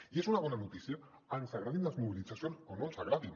i és una bona notícia ens agradin les mobilitzacions o no ens agradin